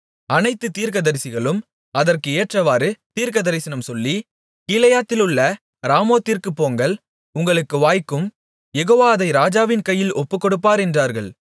அனைத்து தீர்க்கதரிசிகளும் அதற்கு ஏற்றவாறு தீர்க்கதரிசனம் சொல்லி கீலேயாத்திலுள்ள ராமோத்திற்குப் போங்கள் உங்களுக்கு வாய்க்கும் யெகோவா அதை ராஜாவின் கையில் ஒப்புக்கொடுப்பார் என்றார்கள்